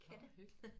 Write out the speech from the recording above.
Katte